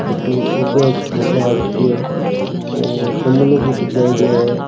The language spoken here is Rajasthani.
लुला सा फोटो आ राखी है और गमलो भी सजायेड़ो है।